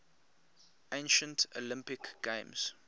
ancient olympic games